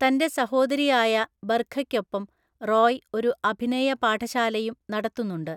തൻ്റെ സഹോദരിയായ ബർഖയ്‌ക്കൊപ്പം റോയ് ഒരുഅഭിനയ പാഠശാലയും നടത്തുന്നുണ്ട് .